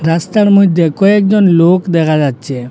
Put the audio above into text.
রাস্তার মইধ্যে কয়েকজন লোক দেখা যাচ্ছে।